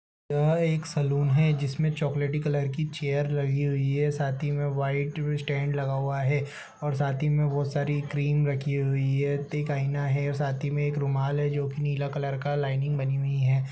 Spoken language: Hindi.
यह एक सैलून है। जिसमें चॉकलेटी कलर की चेयर लगी हुई है साथ ही में व्हाइट भी स्टैंड लगा हुआ है और साथ ही में बहोत सारी क्रीम रखी हुई है आईना है और साथ ही में एक रुमाल है जो कि नीला कलर का लाइनिंग बनी हुई है।